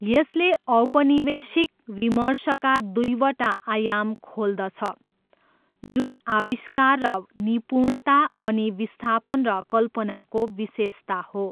यसले औपनिवेशिक विमर्शका दुईवटा आयाम खोल्दछ, जुन आविष्कार र निपुणता अनि विस्थापन र कल्पनाको विशेषता हो।